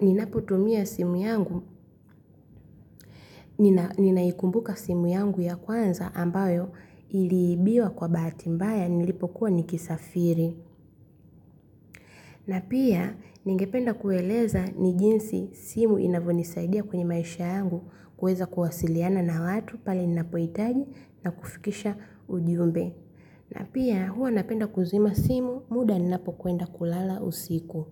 ninapotumia simu yangu, ninaikumbuka simu yangu ya kwanza ambayo iliibiwa kwa bahati mbaya nilipokuwa nikisafiri. Na pia ningependa kueleza ni jinsi simu inavyonisaidia kwenye maisha yangu kweza kuwasiliana na watu pale ninapohitaji na kufikisha ujumbe. Na pia huwa napenda kuzima simu muda ninapokwenda kulala usiku.